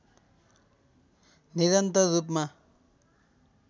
निरन्तर रूपमा